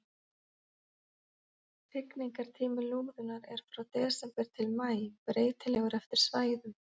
Hrygningartími lúðunnar er frá desember til maí, breytilegur eftir svæðum.